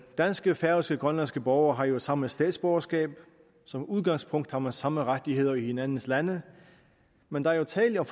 danske færøske og grønlandske borgere har jo samme statsborgerskab som udgangspunkt har man samme rettigheder i hinandens lande men der er jo tale om